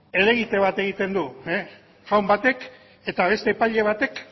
helegite bat egiten du jaun batek eta beste epaile batek